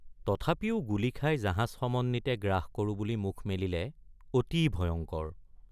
তথাপিও গুলী খাই জাহাজ সমন্বিতে গ্ৰাস কৰোঁ বুলি মুখ মেলিলে অতি ভয়ংকৰ।